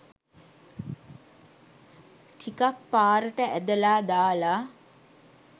ටිකක් පාරට ඇදලා දාලා